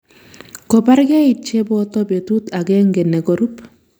Kobargei cheboto betut agenge ne korup